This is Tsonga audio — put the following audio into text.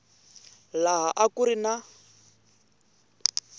laha a ku ri na